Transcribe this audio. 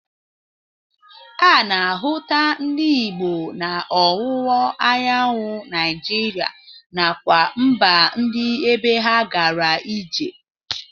A na-ahụta ndị Igbo na ọwụwa anyanwụ naijiria nakwa mba ndị ebe ha gara ije.